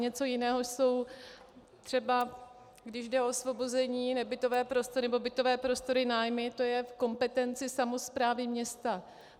Něco jiného jsou třeba, když jde o osvobození, nebytové prostory nebo bytové prostory, nájmy, to je v kompetenci samosprávy města.